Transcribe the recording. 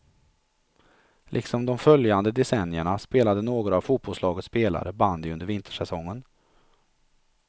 Liksom de följande decennierna spelade några av fotbollslagets spelare bandy under vintersäsongen.